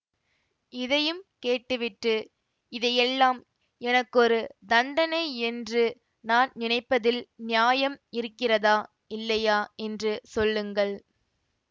இதையும் கேட்டுவிட்டு இதையெல்லாம் எனக்கொரு தண்டனை என்று நான் நினைப்பதில் நியாயம் இருக்கிறதா இல்லையா என்று சொல்லுங்கள்